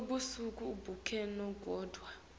busuku bonkhe kodvwa